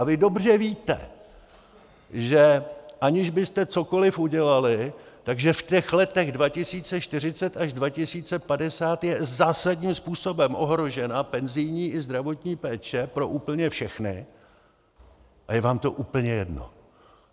A vy dobře víte, že aniž byste cokoliv udělali, že v těch letech 2040 až 2050 je zásadním způsobem ohrožena penzijní i zdravotní péče pro úplně všechny, a je vám to úplně jedno.